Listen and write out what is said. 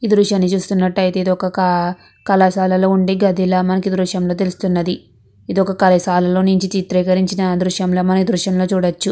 ఈ దుర్షని చుస్తునాటు అయతె ఇది ఒక కలశాలా ల వుండే దుర్షం ల మనకి తెల్లుస్తునది. ఇది ఒక్క కళాశాల నొంది చిత్రీకరించిన దుర్షం అని మనం చేపవాచు.